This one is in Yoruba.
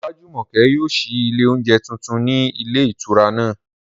Olájùmọ̀kẹ́ yóò ṣí ilé oúnjẹ tuntun ní ilé ìtura náà